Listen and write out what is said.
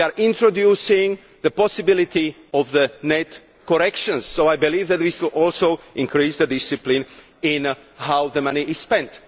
We are introducing the possibility of net corrections, so I believe that we should also increase the discipline in how the money is spent.